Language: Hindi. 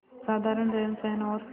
साधारण रहनसहन और